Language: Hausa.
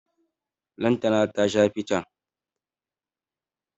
Lantana ta sha fican.